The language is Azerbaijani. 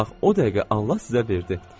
Bax o dəqiqə Allah sizə verdi.